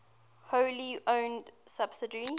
wholly owned subsidiary